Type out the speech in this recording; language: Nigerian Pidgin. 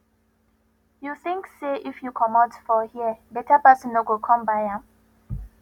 you think say if you commot for here better person no go come buy am